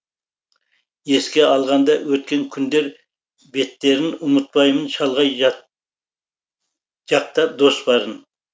еске алғанда өткен күндер беттерін ұмытпаймын шалғай жақта дос барын